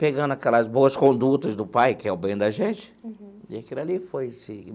pegando aquelas boas condutas do pai, que quer o bem da gente, e aquilo ali foi, se.